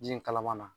Ji kalaman na